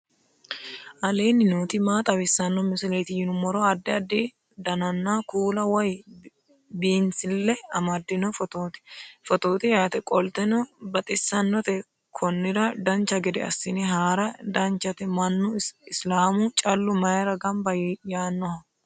aleenni nooti maa xawisanno misileeti yinummoro addi addi dananna kuula woy biinsille amaddino footooti yaate qoltenno baxissannote konnira dancha gede assine haara danchate mannu islaamu callu mayra gamba yaannoho